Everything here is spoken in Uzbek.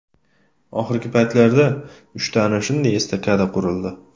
Oxirgi paytlarda uchta ana shunday estakada qurildi.